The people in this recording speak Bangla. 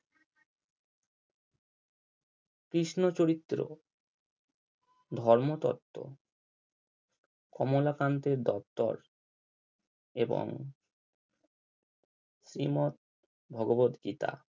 কৃষ্ণ চরিত্র ধর্মতত্ত্ব কমলাকান্তের দপ্তর এবং শ্রীমত ভগবত গীতা